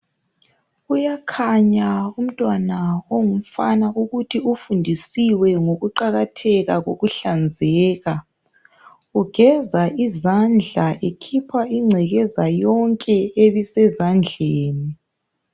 Kuyakhanya umntwana ongumfana ukuthi kufundiswe ngokuqakatheka kokuhlanzeka. Ugeza izandla ekhipha ingcekeza yonke ebisezandleni.